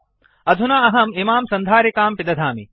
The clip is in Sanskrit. अधुना अहम् इमां सन्धारिकां पिदधामि